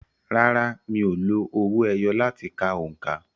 Rárá, mi ò lo owó ẹyọ láti ka òǹkà.